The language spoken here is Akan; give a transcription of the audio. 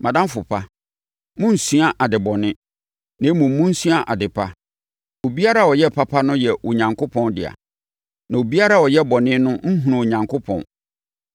Mʼadamfo pa, monnsua ade bɔne, na mmom, monsua ade pa. Obiara a ɔyɛ papa no yɛ Onyankopɔn dea. Na obiara a ɔyɛ bɔne no nhunuu Onyankopɔn.